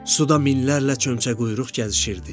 Suda minlərlə çömçəquyruq gəzişirdi.